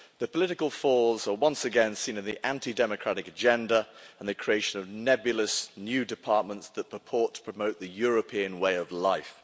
The political flaws are once again seen in the anti democratic agenda and the creation of nebulous new departments that purport to promote the European way of life.